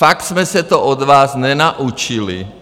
Fakt jsme se to od vás nenaučili!